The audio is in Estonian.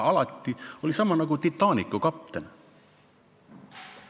Alati oli sama lugu, nagu Titanicu kapteniga.